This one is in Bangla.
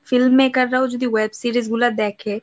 film maker রাও যদি web series গুলা দেখে